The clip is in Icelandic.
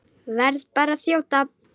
Verð bara að þjóta!